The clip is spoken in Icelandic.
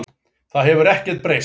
Það hefur ekkert breyst